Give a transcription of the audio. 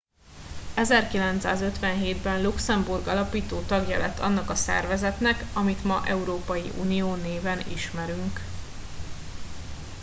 1957 ben luxemburg alapító tagja lett annak a szervezetnek amit ma európai unió néven ismerünk